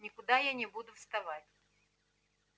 никуда я не буду вставать